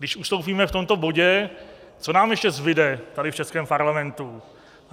Když ustoupíme v tomto bodě, co nám ještě zbude tady v českém parlamentu?